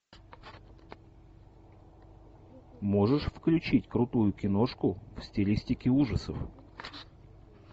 можешь включить крутую киношку в стилистике ужасов